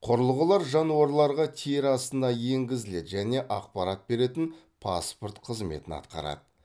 құрылғылар жануарларға тері астына енгізіледі және ақпарат беретін паспорт қызметін атқарады